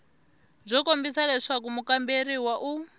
byo kombisa leswaku mukamberiwa u